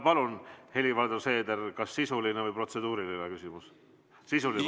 Palun, Helir-Valdor Seeder, kas sisuline või protseduuriline küsimus?